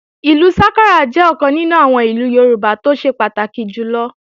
Ìlú sákárà jẹ́ ọ̀kan nínú àwọn ìlù Yorùbá tó ṣe pàtàkì jùlọ